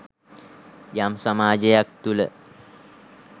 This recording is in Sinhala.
යම් සමාජයක් තුළ